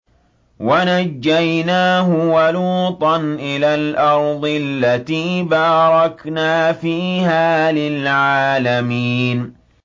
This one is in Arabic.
وَنَجَّيْنَاهُ وَلُوطًا إِلَى الْأَرْضِ الَّتِي بَارَكْنَا فِيهَا لِلْعَالَمِينَ